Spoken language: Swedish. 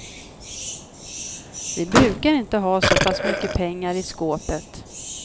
Vi brukar inte ha så pass mycket pengar i skåpet.